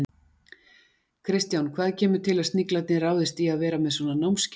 Kristján, hvað kemur til að Sniglarnir ráðist í að vera með svona námskeið?